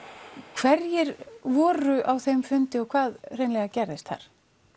hverjir voru á þeim fundi og hvað hreinlega gerðist þar